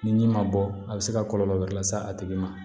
Ni ji ma bɔ a be se ka kɔlɔlɔ wɛrɛ lase a tigi ma